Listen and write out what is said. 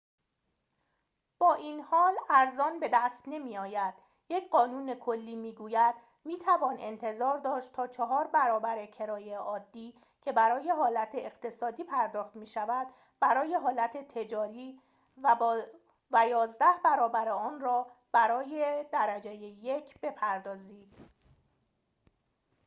با این حال ارزان بدست نمی‌آید یک قانون کلی می‌گوید می‌توان انتظار داشت تا چهار برابر کرایه عادی که برای حالت اقتصادی پرداخت می‌شود برای حالت تجاری و یازده برابر آن را برای درجه یک بپردازید